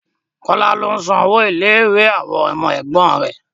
Kọ́lá ló ń san owó ilé ìwé àwọn ọmọ ẹ̀gbọ́n rẹ̀